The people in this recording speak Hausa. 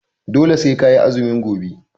Dole sai ka yi azumi gobe!